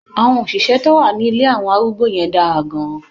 Àwọn òṣìṣẹ́ tó wà ní ilé àwọn arúgbó yẹn dára gan-an.